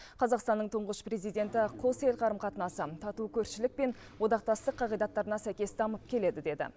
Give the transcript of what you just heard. қазақстанның тұңғыш президенті қос ел қарым қатынасы тату көршілік пен одақтастық қағидаттарына сәйкес дамып келеді деді